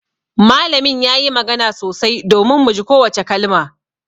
Malamin ya yi magana sosai domin mu ji kowace kalma